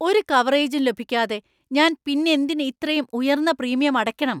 ഒരു കവറേജും ലഭിക്കാതെ ഞാൻ പിന്നെന്തിന് ഇത്രയും ഉയർന്ന പ്രീമിയം അടക്കണം?